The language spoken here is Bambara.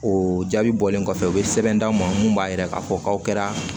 O jaabi bɔlen kɔfɛ u bɛ sɛbɛn d'aw ma mun b'a yira k'a fɔ k'aw kɛra